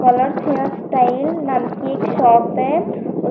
colours hairs style नाम की एक शॉप है उस --